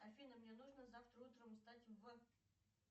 афина мне нужно завтра утром встать в